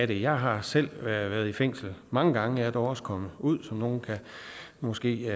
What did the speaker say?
det jeg har selv været i fængsel mange gange jeg er dog også kommet ud som nogle måske